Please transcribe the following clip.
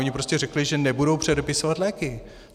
Oni prostě řekli, že nebudou předepisovat léky.